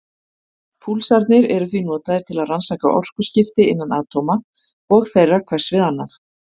Púlsarnir eru því notaðir til að rannsaka orkuskipti innan atóma og þeirra hvers við annað.